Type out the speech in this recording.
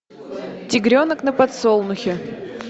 тигренок на подсолнухе